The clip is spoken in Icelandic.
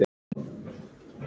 Já, Gulli veit þetta allt.